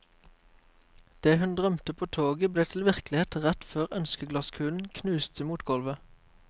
Det hun drømte på toget ble til virkelighet rett før ønskeglasskulen knuste mot gulvet.